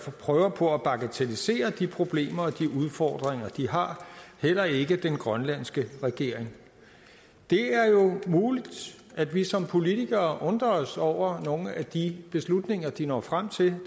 prøver på at bagatellisere de problemer og de udfordringer de har heller ikke den grønlandske regering det er muligt at vi som politikere undrer os over nogle af de beslutninger de når frem til